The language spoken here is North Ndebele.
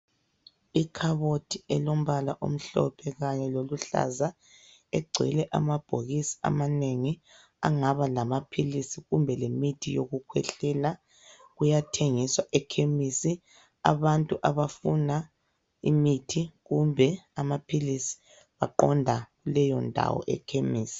Ikhabothi elombala omhlophe kanye loluhlaza egcwele amabhokisi amanengi agabalamaphilisi kumbe lemithi yokukhwehlela, kuyathengiswa ekhemisi. Abantu abafuna imithi kumbe amaphilisi baqonda leyondawo ekhemisi.